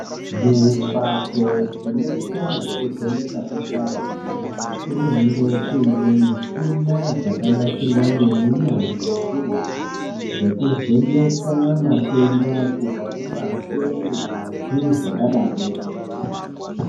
Mumbatso dzinoita zvekuvheneka kwesainzi kunenge kuine muchina dzakanasirwa ngeunyanzvi hukurutu, dzekuvheneke matenda kubva kumate, ngazi zvakadaroko.